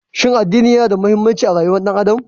Shin addini yana da mahimmanci a rayuwar ɗan adam?